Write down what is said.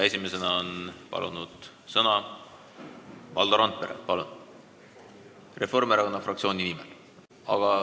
Esimesena on palunud sõna Valdo Randpere Reformierakonna fraktsiooni nimel.